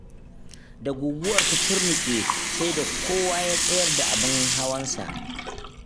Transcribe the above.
Da guguwar ta turnuƙe, sai da kowa ya tsayar da abin hawansa.